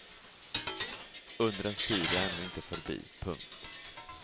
Undrens tid är ännu inte förbi. punkt